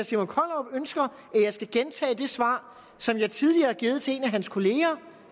simon kollerup ønsker at jeg skal gentage det svar som jeg tidligere har givet til en af hans kolleger